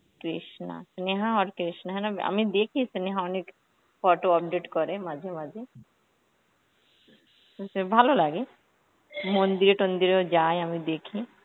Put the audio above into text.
কৃষ্ণা, স্নেহা আর কৃষ্ণা হ্যাঁ না আমি দেখি স্নেহা অনেক photo update করে মাঝে মাঝে, সে ভালো লাগে. মন্দিরে তন্দিরেও যায় আমি দেখি,